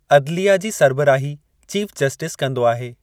अदलिया जी सरबराही चीफ़ जस्टिस कंदो आहे।